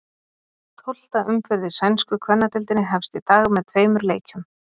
Tólfta umferð í sænsku kvennadeildinni hefst í dag með tveimur leikjum.